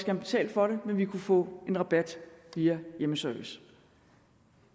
have betalt for det men vi kunne få en rabat via hjemmeservice